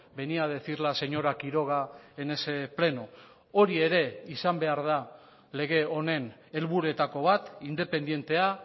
venía a decir la señora quiroga en ese pleno hori ere izan behar da lege honen helburuetako bat independentea